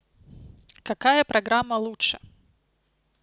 какая программа лучше